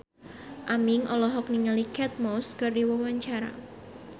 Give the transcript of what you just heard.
Aming olohok ningali Kate Moss keur diwawancara